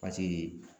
Paseke